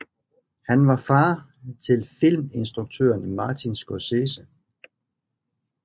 Han var far til filminstrukøren Martin Scorsese